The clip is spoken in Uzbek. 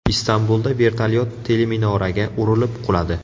Istanbulda vertolyot teleminoraga urilib quladi.